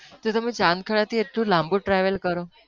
તો તમે તો ચાંદખેડા થી એટલું લાંબુ travel કરો,